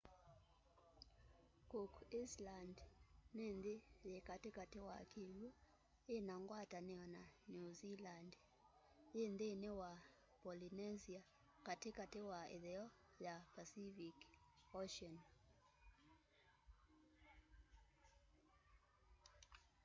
cook island ni nthi yi kati kati wa kiw'u ina ngwatanio na new zealand yi nthini wa polynesia kati kati wa itheo ya pacific ocean